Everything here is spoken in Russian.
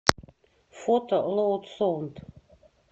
фото лоуд соунд